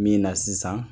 Min na sisan